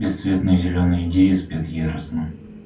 бесцветные зелёные идеи спят яростно